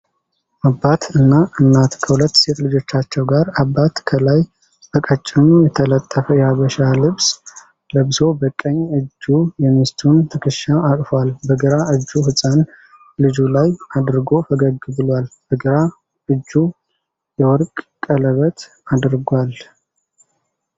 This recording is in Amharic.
አባት እና እናት ከሁለት ሴት ልጆቻቸዉ ጋር፤ አባት ከላይ በቀጭኑ የተጠለፈ የሀበሻ ልብስ ለብሶ በቀኝ እጁ የሚስቱን ትክሻ አቅፏል። በግራ እጁ ህፃን ልጁ ላይ አድርጎ ፈገግ ብሏል። በግራ እጁ የወርቅ ቀለበት አድርጓል።